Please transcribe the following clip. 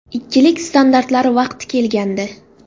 Ikkilik standartlari vaqti kelgandi.